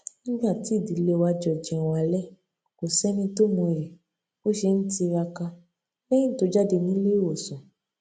nígbà tí ìdílé wa jọ jẹun alé kò séni tó mọyì bó ṣe ń tiraka léyìn tó jáde nílé ìwòsàn